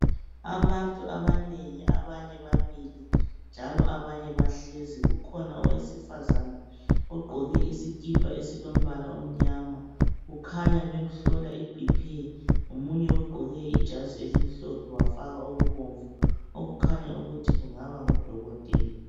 Abantu abanengi, abanye bamile njalo abanye bahlezi. Kukhona owesifazana ogqoke isikipha esilombala omnyama, kukhanya bemhlola iBP. Omunye ugqoke ijazi elimhlophe wafaka okubomvu okukhanya ukuthi kungaba ngudokotela.